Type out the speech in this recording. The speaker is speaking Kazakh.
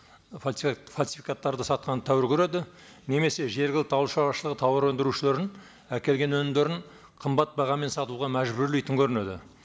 фальсификаттарды сатқанды тәуір көреді немесе жергілікті ауыл шараушылығы тауар өндірушілердің әкелген өнімдерін қымбат бағамен сатуға мәжбүрлейтін көрінеді